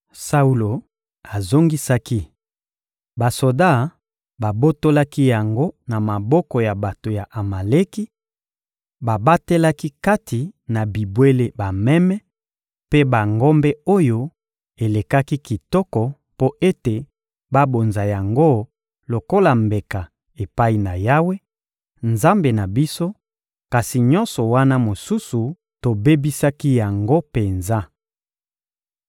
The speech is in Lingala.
Saulo azongisaki: — Basoda babotolaki yango na maboko ya bato ya Amaleki; babatelaki kati na bibwele bameme mpe bangombe oyo elekaki kitoko mpo ete babonza yango lokola mbeka epai na Yawe, Nzambe na biso; kasi nyonso wana mosusu, tobebisaki yango penza.